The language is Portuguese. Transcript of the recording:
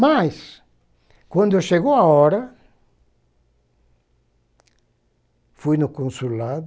Mas, quando chegou a hora, fui no consulado,